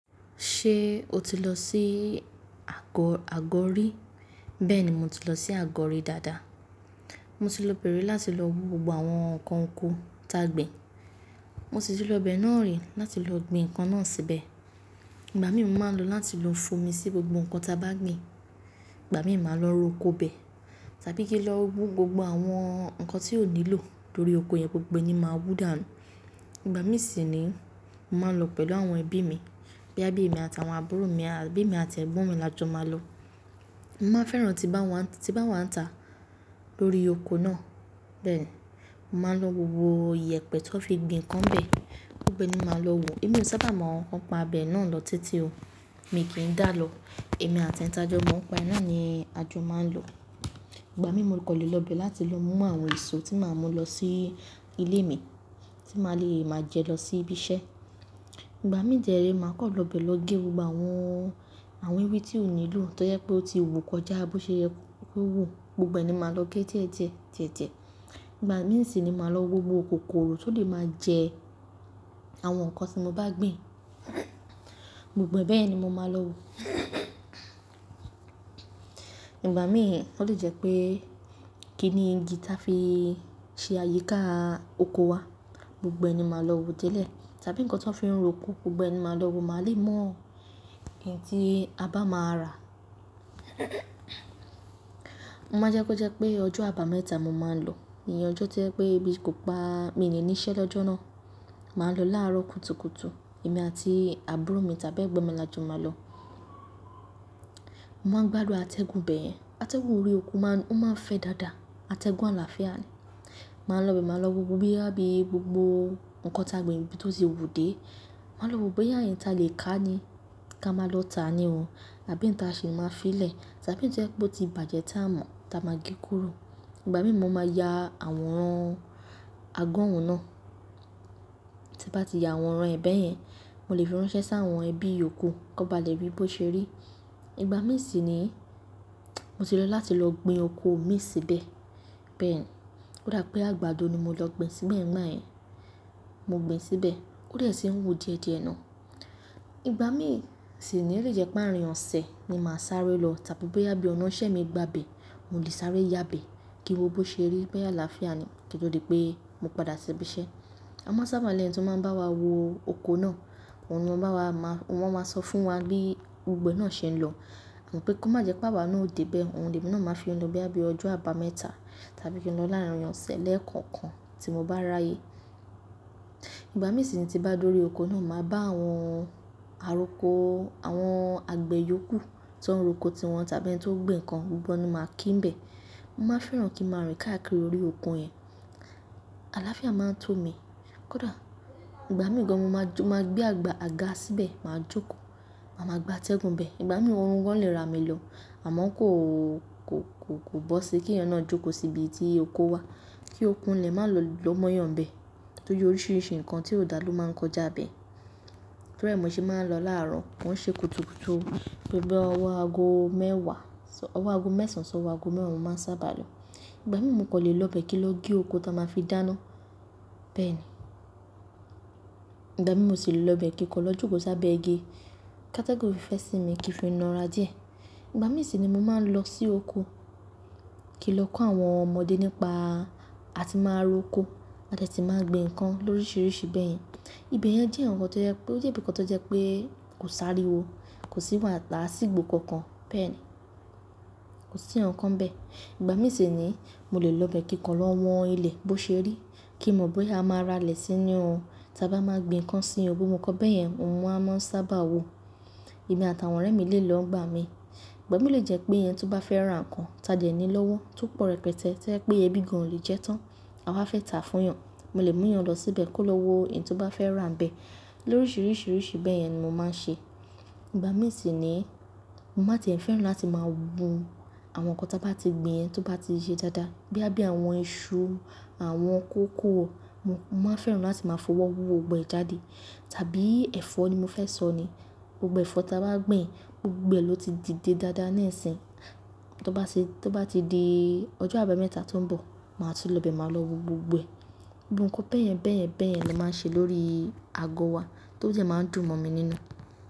Ṣe o ti lọ si àgó, àgó rí? Bẹ́ẹ̀ni mo ti lọ sí àgó rí dáadáa. Mo ti lọ pèrè láti lọ wo gbogbo àwọn ǹkan oko táa gbin. Mo sì ti lọ bẹ̀ náà rí láti lọ gbin ǹkan náà síbẹ̀. Ìgbà mí mú máa ń lọ láti lo fúnmi sí gbogbo ǹkan ta bá gbin. Ìgbà mí máa lọ ro oko bẹ̀ tàbí kí n lọ wo gbogbo àwọn ǹkan tí ó nílò lórí oko yẹn gbogbo ẹni máa wú dà mí. Ìgbà mí sì ni mo máa ń lọ pẹ̀lú àwọn ẹbí mi, bí àbí mi àtàwọn àbúrò mi, àbí mi àti ẹ̀gbọ́n mi la jọ máa lọ. Mo máa ń fẹ́ràn tí bá wá ń, tí bá wá ń tà lórí oko náà. Bẹ́ẹ̀ ni, màá lọ wo gbogbo iyẹ̀pẹ̀ tó fi gbin ǹkan bẹ̀, gbogbo ẹni máa lọ wo. Èmi ò sábà mọ ǹkan pa abẹ náà lọ títí o. Èmi kì í dà lọ, èmi àti ẹ̀ta ọjọ́ máa ń pa iná ni ajo máa ń lọ. Ìgbà mí mo kò lè lọ bẹ̀ láti lọ mú àwọn èso tí màá mú lọ sí ilé mi, tí màá le máa jẹ lọ sí ibi iṣẹ́. Ìgbà mí jẹ́rẹ́ màá kọ́ lọ bẹ̀ lọ gé gbogbo àwọn, àwọn ewé tí ó nílò tó yẹ pé ó ti wù kọjá bó ṣe yẹ kó wù, gbogbo ẹni máa lọ gé díẹ̀ díẹ̀, díẹ̀ díẹ̀. Ìgbà mí sì ni màá lọ wo gbogbo kòkòrò tó lè máa jẹ àwọn ǹkan tí mo bá gbin. Gbogbo bẹ́ẹ̀ ni mo máa lọ wo. Ìgbà mí ó lè jẹ́ pé kíni igi táa fi ṣe àyíká oko wa, gbogbo ẹni máa lọ wo tẹ́lẹ̀ tàbí ǹkan tó ń fi roko, gbogbo ẹni máa lọ wo máa lè mọ ìdí a bá máa rà. Mo máa ń jẹ́ kó jẹ́ pé ọjọ́ àbámẹ́ta mo máa ń lọ, ìyẹn ọjọ́ tí ẹ pé bí kò bá mi ní níṣẹ́ lọ́jọ́ náà. Màá lọ láàárọ̀ kùtùkùtù, èmi àti àbúrò mi tàbí ẹ̀gbọ́n mi la jọ máa lọ. Mo máa ń gbádùn àtẹ́gùn bẹ́ẹ̀. Àtẹ́gùn orí oko máa ń, ó máa ń fẹ́ dáadáa. Àtẹ́gùn àlàáfíà ni. Màá lọ bẹ̀ máa lọ wo gbogbo bí àbí gbogbo ǹkan táa gbin níbi tó ti wù dé. Màá lọ wo bóyá ẹ̀yin ta lè ká ni ká máa lọ tà á ni o tàbí ǹ ta sì máa fi í lẹ̀ tàbí ọún tẹ́lẹ̀ bó ti bàjẹ́ táa mọ̀ táa máa gé kúrò. Ìgbà mí mo máa ya àwòrán àgọ́ òun náà. Tí bá ti ya àwòrán ẹ bẹ́ẹ̀ yẹn, mo lè fi ránṣẹ́ sá àwọn ẹbí oko kó ba lẹ̀ ri bí ó ṣe rí. Ìgbà mí sì ni mo ti lọ láti lọ gbin oko mi síbẹ̀. Bẹ́ẹ̀ ni, ó dà pé àgbàdo ni mo lọ gbin síbẹ̀ nígbà ẹyin. Mo gbin síbẹ̀, ó dẹ̀ sí wù díẹ̀díẹ̀ náà. Ìgbà mí sì ni lè jẹ́ páàrọ̀ ìyànṣẹ ni màá sáré lọ tàbí bóyá bí ọ̀nà ìṣe mi gba bẹ̀, mo lè sáré yá bẹ̀ kí wó bó ṣe rí, bóyá àlàáfíà ni, kí ó tó di pé mo padà sí ibi iṣẹ́. A máa ń sábà lẹ́yìn tí wọ́n bá wá wo oko náà, òun ni ó bá wà máa, wọ́n máa sọ fún wa bí gbogbo ẹ náà ṣe ń lọ. Mo pé kó má jẹ́ pé àwa náà ó dé bẹ̀, ohun ìrìnnà náà máa fi lọ bí i ọjọ́ àbámẹ́ta tàbí kí ó lọ láàárín ọ̀sẹ̀ lẹ́ẹ̀kọ̀kan tí mo bá ráyè. Ìgbà mí sì ni tí bá lórí oko náà, màá bá àwọn àroko, àwọn àgbẹ̀ yòókù tó ń ro oko ti wọn tàbí ẹni tó ń gbin ǹkan, gbogbo ẹni máa kí n bẹ̀. Mo máa ń fẹ́ràn kí mo rìn káàkiri orí oko yẹn. Àlàáfíà máa ń tó mi. Kódà ìgbà mìíràn mo máa jo, mo máa gbé àga síbẹ̀, màá jókòó, màá máa gba àtẹ́gùn bẹ̀. Ìgbà mìíràn orun wọ́n lè ra mi lọ àmọ́ kó, kó, kó bó sí kí ẹni náà jókòó sí ibi tí oko wà kí okun ilẹ̀ má lọ mọ́yàn bẹ̀ tó ju oríṣiríṣi ǹkan tí ó dà ló máa ń kọjá bẹ̀. Lórí ẹ̀ mi òṣì máa ń lọ láàárọ̀, wọ́n ṣe kùtùkùtù, gbogbo ọwọ́ aago mẹ́wàá, ọwọ́ aago mẹ́sànṣán, ọwọ́ aago mẹ́wàá ni wọ́n sábà lọ. Ìgbà mìíràn mo kò lè lọ bẹ̀ kí n lọ gé oko táa máa fi dáná. Bẹ́ẹ̀ ni. Ìgbà mìíràn mo sì lè lọ bẹ̀ kí n kọ jókòó sábẹ́ igi káta go fẹ́ sì mi kí n fi na ara díẹ̀. Ìgbà mì sì ni mo máa ń lọ sí oko kí n lọ kọ́ àwọn ọmọdé nípa àti máa ro oko àti de ti máa gbin ǹkan lóríṣiríṣi bẹ́ẹ̀ yẹn. Ibi yẹn jẹ́ ǹkan tó jẹ́ pé ó jẹ́ ǹkan tó jẹ́ pé kò sáré wo, kò sí wàtà sí ìgbò kankan. Bẹ́ẹ̀ ni. Kò sí ǹkan bẹ́ẹ̀. Ìgbà mì sì ni mo lè lọ bẹ̀ kí n kọ lọ wọ́n ilẹ̀ bó ṣe rí kí n mọ̀ bóyá a máa rà lè sí inú wọn tàbí a máa gbin ǹkan sí inú wọn. Mo kọ bẹ́ẹ̀ yẹn, òun a máa ń sábà wo. Èmi àtàwọn ọ̀rẹ́ mi lè lọ ń bá mi. Ìgbà mí lè jẹ́ pé ẹni tí ó bá fẹ́ rán ǹkan, ta jẹ̀ ní lọ́wọ́ tó pọ̀ rẹpẹtẹ́ tí ẹ pé ẹbí gan-an lè jẹ́ tán, a máa fẹ́ tà á fún wọn. Mo lè mú èèyàn lọ síbẹ̀ kó lọ wo èyí tí wọ́n bá fẹ́ rán bẹ̀. Lóríṣiríṣi bẹ́ẹ̀ yẹn ni mo máa ń ṣe. Ìgbà mì sì ni mo máa ti fẹ́ràn láti máa wo àwọn ǹkan táa bá ti gbin ẹni tí ó bá ti yẹ dáadáa bí àbí àwọn iṣu, àwọn kòkòrò. Mo máa fẹ́ràn láti máa fọwọ́ wò gbogbo ẹ̀ jáde tàbí ẹ̀fọ́ ni mo fẹ́ sọ ni. Gbogbo ẹ̀fọ́ táa bá gbin, gbogbo ẹ ló ti dìde dáadáa ní ẹ̀sín. Tó bá ti, tó bá ti di ọjọ́ àbámẹ́ta tó ń bọ̀, màá tún lọ bẹ̀ màá lọ wo gbogbo ẹ. Gbogbo ǹkan bẹ́ẹ̀yẹn, bẹ́ẹ̀yẹn, bẹ́ẹ̀yẹn ló máa ń ṣe lórí àgọ́ wa tó jẹ́ máa ń dùn mọ̀ mi nínú.